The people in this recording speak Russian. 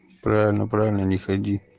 правильно правильно не ходи